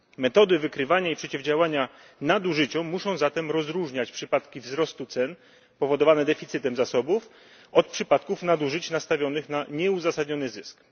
Metody wykrywania i przeciwdziałania nadużyciom muszą zatem rozróżniać przypadki wzrostu cen powodowane deficytem zasobów od przypadków nadużyć nastawionych na nieuzasadniony zysk.